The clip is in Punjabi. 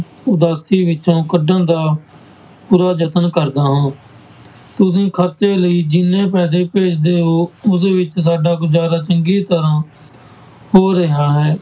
ਉਦਾਸੀ ਵਿੱਚੋਂ ਕੱਢਣ ਦਾ ਪੂਰਾ ਯਤਨ ਕਰਦਾ ਹਾਂ, ਤੁਸੀਂ ਖ਼ਰਚੇ ਲਈ ਜਿੰਨੇ ਪੈਸੇ ਭੇਜਦੇ ਹੋ ਉਸ ਵਿੱਚ ਸਾਡਾ ਗੁਜ਼ਾਰਾ ਚੰਗੀ ਤਰ੍ਹਾਂ ਹੋ ਰਿਹਾ ਹੈ।